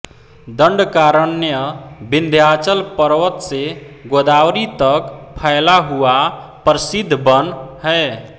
दंडकारण्य विंध्याचल पर्वत से गोदावरी तक फैला हुआ प्रसिद्ध वन है